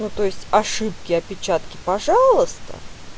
ну то есть ошибки опечатки пожалуйста